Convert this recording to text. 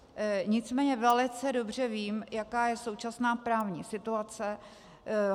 Nicméně velice dobře vím, jaká je současná právní situace.